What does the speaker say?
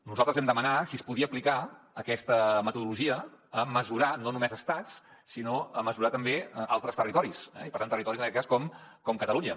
nosaltres vam demanar si es podia aplicar aquesta metodologia a mesurar no només estats sinó a mesurar també altres territoris i per tant territoris en aquest cas com catalunya